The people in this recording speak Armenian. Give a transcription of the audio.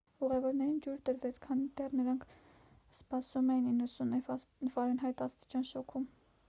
ուղևորներին ջուր տրվեց քանի դեռ նրանք սպասում էին 90ֆ աստիճան շոգին։